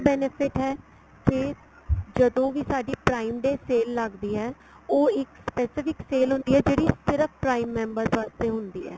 benefit ਹੈ ਕੇ ਜਦੋਂ ਵੀ ਸਾਡੀ prime ਤੇ sale ਲੱਗਦੀ ਏ ਉਹ ਇੱਕ specific sale ਹੁੰਦੀ ਏ ਜਿਹੜੀ ਸਿਰਫ prime members ਵਾਸਤੇ ਹੁੰਦੀ ਏ